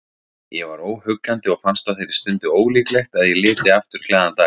Ég var óhuggandi og fannst á þeirri stundu ólíklegt að ég liti aftur glaðan dag.